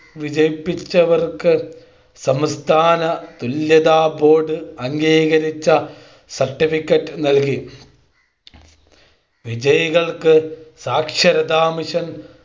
വിജയിപ്പിച്ചവർക്ക് സംസ്ഥാന തുല്യതാ Board അംഗീകരിച്ച Certificate നൽകി വിജയികൾക്ക് സാക്ഷരതാ മിഷൻ